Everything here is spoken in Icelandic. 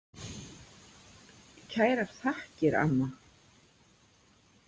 Kærar þakkir, amma.